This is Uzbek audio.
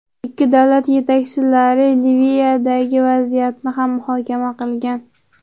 Ikki davlat yetakchilari Liviyadagi vaziyatni ham muhokama qilgan.